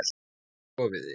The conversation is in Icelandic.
Hvar sofiði?